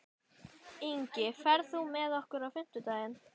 Ingi, ferð þú með okkur á fimmtudaginn?